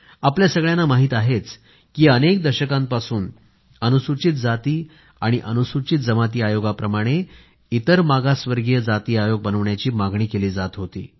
आपल्या सगळ्यांना माहीत आहेच की अनेक दशकांपासून अनुसूचित जाती आणि अनुसूचित जमाती आयोगाप्रमाणे इतर मागासवर्गीय जाती आयोग बनवण्याची मागणी केली जात होती